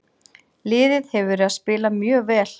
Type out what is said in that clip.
Liðið hefur verið að spila mjög vel.